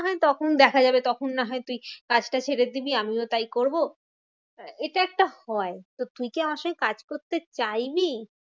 না হয় তখন দেখা যাবে তখন না হয় তুই কাজ টা ছেড়ে দিলি আমিও তাই করবো। এটা একটা হয় তো তুই কি আমার সঙ্গে কাজ করবে চাইবি?